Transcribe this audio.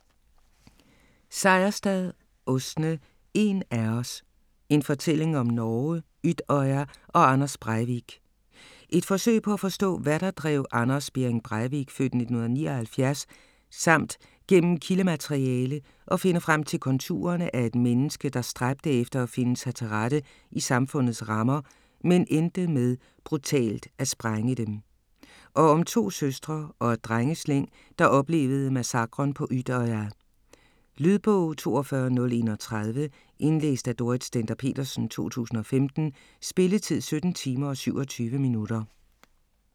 Seierstad, Åsne: En af os: en fortælling om Norge, Utøya og Anders Breivik Et forsøg på at forstå, hvad der drev Anders Behring Breivik (f. 1979) samt gennem kildemateriale at finde frem til konturerne af et menneske, der stræbte efter at finde sig til rette i samfundets rammer, men endte med brutalt at sprænge dem. Og om to søstre og et drengeslæng der oplevede massakren på Utøya. Lydbog 42031 Indlæst af Dorrit Stender-Petersen, 2015. Spilletid: 17 timer, 27 minutter.